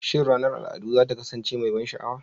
Shin ranar al'adu za ta kasance mai ban sha'awa?